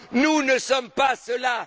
Nous ne sommes pas cela.